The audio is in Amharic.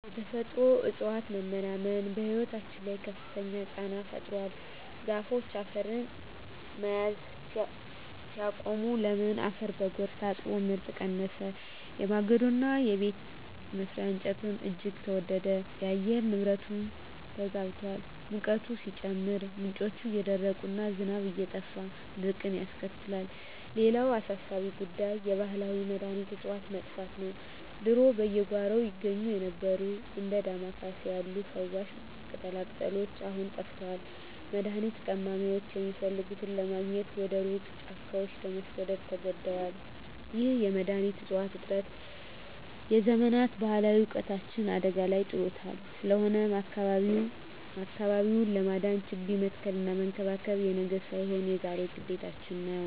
የተፈጥሮ እፅዋት መመናመን በሕይወታችን ላይ ከፍተኛ ጫና ፈጥሯል። ዛፎች አፈርን መያዝ ሲያቆሙ፣ ለም አፈር በጎርፍ ታጥቦ ምርት ቀነሰ፤ የማገዶና የቤት መስሪያ እንጨትም እጅግ ተወደደ። የአየር ንብረቱም ተዛብቷል፤ ሙቀቱ ሲጨምር፣ ምንጮች እየደረቁና ዝናብ እየጠፋ ድርቅን ያስከትላል። ሌላው አሳሳቢ ጉዳይ የባህላዊ መድኃኒት እፅዋት መጥፋት ነው። ድሮ በየጓሮው ይገኙ የነበሩት እንደ ዳማ ኬሴ ያሉ ፈዋሽ ቅጠላቅጠሎች አሁን ጠፍተዋል፤ መድኃኒት ቀማሚዎችም የሚፈልጉትን ለማግኘት ወደ ሩቅ ጫካዎች ለመሰደድ ተገደዋል። ይህ የመድኃኒት እፅዋት እጥረት የዘመናት ባህላዊ እውቀታችንን አደጋ ላይ ጥሎታል። ስለሆነም አካባቢውን ለማዳን ችግኝ መትከልና መንከባከብ የነገ ሳይሆን የዛሬ ግዴታችን ነው።